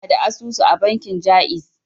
Ina da asusu a bankin ja'iz.